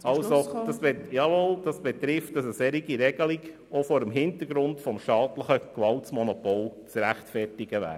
Das heisst, dass eine solche Regelung auch vor dem Hintergrund des staatlichen Gewaltmonopols zu rechtfertigen wäre.